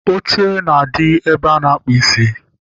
Oche na-adị ebe a na-akpụ isi